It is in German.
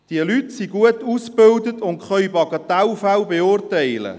Die Leute sind gut ausgebildet und können Bagatellfälle beurteilen.